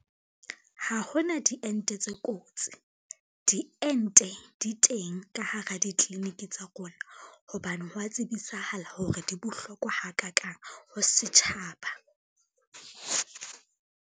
Ha hona diente tse kotsi, diente di teng ka hara ditliliniki tsa rona, hobane ho wa tsebisahala hore di bohlokwa ha kakang ho setjhaba.